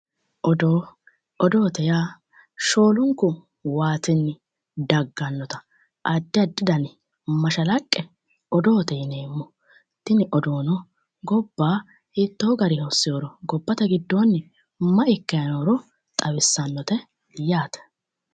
Odoo, odoote yaa shoolunku waatinni dagganotta addi addi danni mashalaqqe odoote yinneemmo, tini odoono gobba hiitto garinni hosinoro gobbate giddoni mayi ikkanni nooro xawisanote yaate.